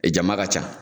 E jama ka ca